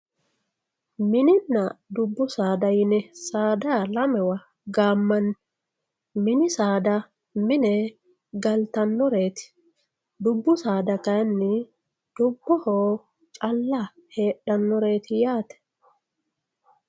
Mininna dubbu saada yine saada lamewa gaammanni, mini saada mini saada mine galitanoreeti, dubbu saada kayini fubboho calla heedhanoreeti yaate